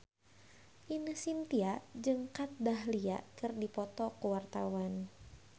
Ine Shintya jeung Kat Dahlia keur dipoto ku wartawan